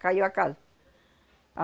Caiu a casa.